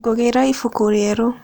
Ngĩgũra ibuku rĩerũ.